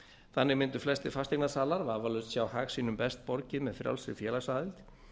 þannig myndu flestir fasteignasalar vafalaust sjá hag sínum best borgið með frjálsri félagsaðild